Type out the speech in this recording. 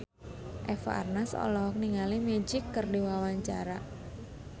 Eva Arnaz olohok ningali Magic keur diwawancara